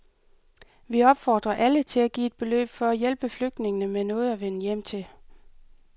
Vi opfordrer alle til at give et beløb for at hjælpe flygtningene med noget at vende hjem til.